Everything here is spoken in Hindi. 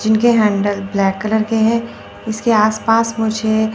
जिनके हैंडल ब्लैक कलर के है इसके आस पास मुझे--